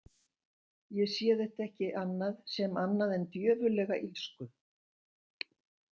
Ég sé þetta ekki annað sem annað en djöfullega illsku.